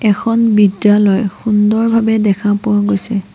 এখন বিদ্যালয় সুন্দৰভাৱে দেখা পোৱা গৈছে।